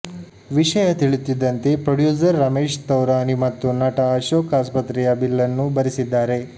ವಿಷಯ ತಿಳಿಯುತ್ತಿದ್ದಂತೆ ಪ್ರೊಡ್ಯೂಸರ್ ರಮೇಶ್ ತೌರಾನಿ ಮತ್ತು ನಟ ಅಶೋಕ್ ಆಸ್ಪತ್ರೆಯ ಬಿಲ್ ನ್ನು ಭರಿಸಿದ್ದಾರೆ